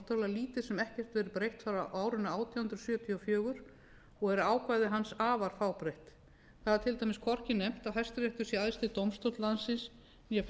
lítið sem ekkert verið breytt frá árinu átján hundruð sjötíu og fjögur og eru ákvæði hans afar fábreytt þar er til dæmis hvorki nefnt að hæstiréttur sé æðsti dómstóll landsins né fjallað